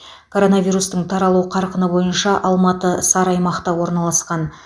коронавирустың таралу қарқыны бойынша алматы сары аймақта орналасқан